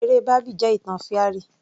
Eré bábì jẹ́ ìtàn fairy